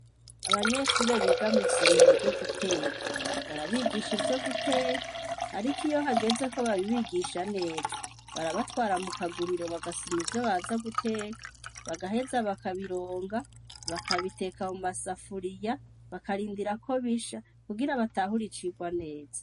Abanyeshure biga mw'isomero ryo guteka, barabigisha ivyo guteka ariko iyo hageze ko n'abigisha neza, barabatwara mukaguriro bakaja gusuma ivyo baja guteka, bagaheza bakabironga ,bakabiteka mumasafuriya bakarindira ko bisha kugira batahure icirwa neza.